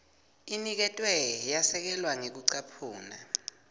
iniketwe yasekelwa ngekucaphuna